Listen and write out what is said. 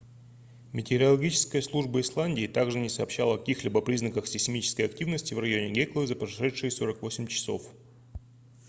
метеорологическая служба исландии также не сообщала о каких-либо признаках сейсмической активности в районе геклы за прошедшие 48 часов